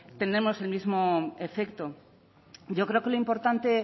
tenemos el mismo efecto yo creo que lo importante